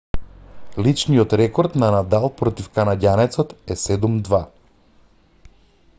личниот рекорд на надал против канаѓанецот е 7 - 2